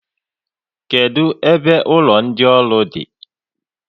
Kedụ ebe ụlọ ndị ọrụ di?